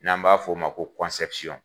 N'an b'a f'o ma ko